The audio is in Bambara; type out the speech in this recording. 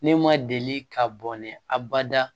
Ne ma deli ka bɔnɛ abada